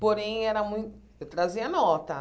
Porém, era mui eu trazia nota.